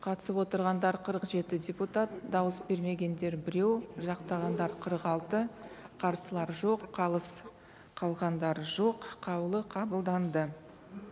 қатысып отырғандар қырық жеті депутат дауыс бермегендер біреу жақтағандар қырық алты қарсылар жоқ қалыс қалғандар жоқ қаулы қабылданды